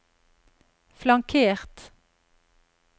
flankert